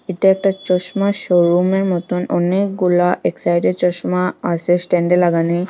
এটা একটা চশমা শোরুমের মতন অনেকগুলা এক সাইডে চশমা আসে স্ট্যান্ডে লাগানি।